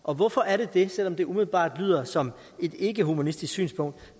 og hvorfor er det det selv om det umiddelbart lyder som et ikkehumanistisk synspunkt